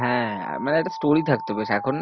হ্যাঁ, মানে একটা থাকতো বেশ এখন